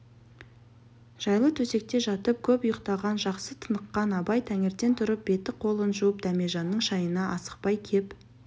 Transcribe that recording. жайлы төсекте жатып көп ұйықтаған жақсы тыныққан абай таңертең тұрып беті-қолын жуып дәмежанның шайына асықпай кеп